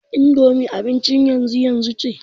indomi abin yanzu yanzu ce